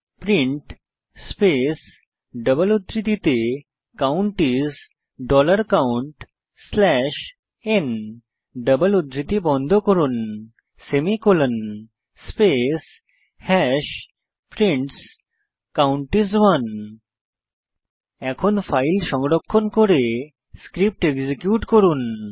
print space double উদ্ধৃতিতে count is dollar count slash n double উদ্ধৃতি বন্ধ করুন semicolon space hash prints count is 1 এখন file সংরক্ষণ করে স্ক্রিপ্ট এক্সিকিউট করুন